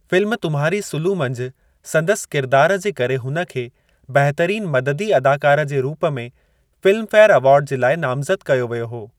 Film Tumhari Sulu मंझि संदसि किरिदार जे करे हुन खे बहितरीन मददी अदाकार जे रूप में फ़िल्मफ़ेर अवार्ड जे लाइ नामज़दु कयो वियो हो।